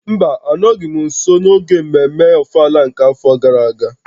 Mba, anọghị m nso n'oge mmemme ofala nke afọ gara aga